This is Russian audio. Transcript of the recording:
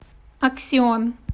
аксион